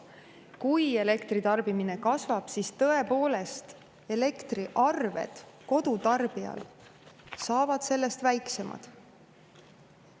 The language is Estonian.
Kui elektritarbimine kasvab, siis tõepoolest elektriarved kodutarbijal saavad väiksemad.